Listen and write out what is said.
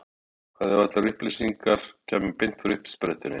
Hvað ef allar upplýsingar kæmu beint frá uppsprettunni?